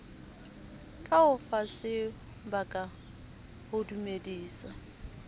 ka o fasebaka ho dumedisa